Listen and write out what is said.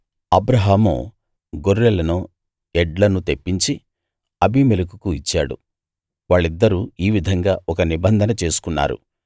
అబ్రాహాము గొర్రెలనూ ఎడ్లనూ తెప్పించి అబీమెలెకుకు ఇచ్చాడు వాళ్ళిద్దరూ ఈ విధంగా ఒక నిబంధన చేసుకున్నారు